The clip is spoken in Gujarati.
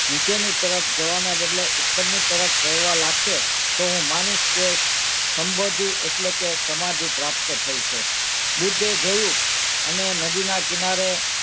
નીચેની તરફ જવાનાં બદલે ઉપરની તરફ જવા લાગશે તો હું માનીશ કે સંબોધી એટલે કે સમાધિ પ્રાપ્ત થઇ છે બુદ્ધે જોયું અને નદીનાં કિનારે,